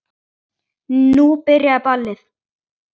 Nú byrjaði ballið.